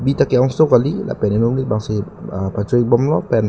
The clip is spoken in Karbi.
bi ta keong so kali lapen inut amonit bangsi pacho ik bomlo pen--